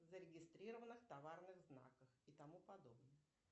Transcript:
зарегистрированных товарных знаков и тому подобное